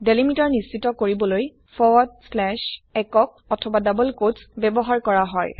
delimiter নিশ্চিত কৰিবলৈ forward slash single অথবা ডাবল কোটছ ব্যৱহাৰ কৰা হয়